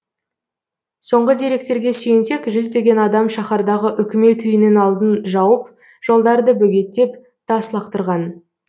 соңғы деректерге сүйенсек жүздеген адам шаһардағы үкімет үйінің алдын жауып жолдарды бөгеттеп тас лақтырған